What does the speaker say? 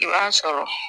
I b'a sɔrɔ